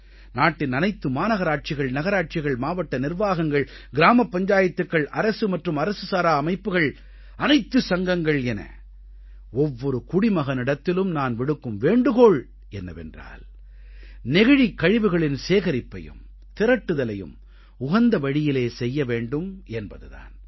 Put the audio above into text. நாட்டின் அனைத்து மாநகராட்சிகள் நகராட்சிகள் மாவட்ட நிர்வாகங்கள் கிராமப் பஞ்சாயத்துக்கள் அரசு மற்றும் அரசு சாரா அமைப்புகள் அனைத்து சங்கங்கள் என ஒவ்வொரு குடிமகனிடத்திலும் நான் விடுக்கும் வேண்டுகோள் என்னவென்றால் நெகிழிக் கழிவுகளின் சேகரிப்பையும் திரட்டுதலையும் உகந்த வழியிலே செய்ய வேண்டும் என்பது தான்